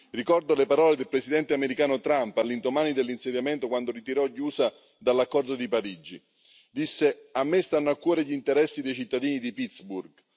Ricordo le parole del presidente americano Trump all'indomani dell'insediamento quando ritirò gli USA dall'accordo di Parigi, disse A me stanno a cuore gli interessi dei cittadini di Pittsburgh.